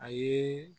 A ye